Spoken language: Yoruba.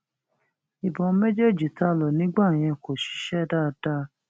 ìbọn méjèèjì tá a lò nígbà yẹn kò ṣiṣẹ dáadáa